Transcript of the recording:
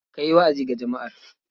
Ka yi wa'azi ga jama'ar.